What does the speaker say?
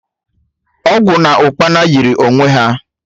Ogwu na Ukpana yiri onwe ha